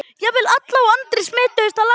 Jafnvel Alla og Andri smituðust af látunum.